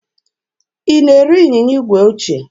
Ị na-ere ịnyịnya igwe ochie?